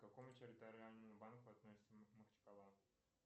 к какому территориальному банку относится махачкала